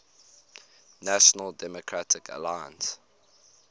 national democratic alliance